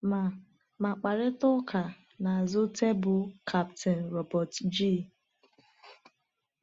Ma Ma mkparịta ụka n’azụ tebụl Kapten Robert G.